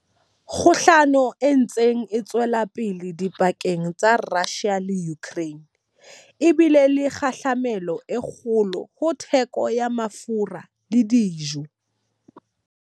Kgohlano e ntseng e tswela pele dipakeng tsa Russia le Ukraine e bile le kgahlamelo e kgolo ho theko ya mafura le dijo.